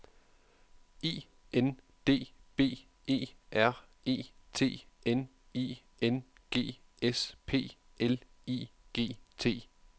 I N D B E R E T N I N G S P L I G T